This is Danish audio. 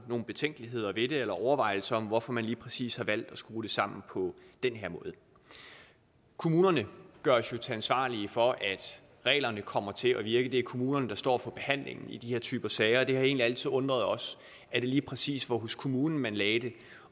betænkeligheder ved det eller overvejelser om hvorfor man lige præcis har valgt at skrue det sammen på den her måde kommunerne gøres jo ansvarlige for at reglerne kommer til at virke for det er kommunerne der står for behandlingen i den her type sager og det har egentlig altid undret os at det lige præcis var hos kommunen man lagde det